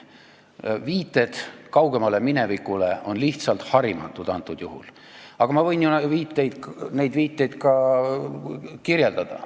Viited kaugemale minevikule on antud juhul lihtsalt harimatud, aga ma võin ju neid viiteid ka kirjeldada.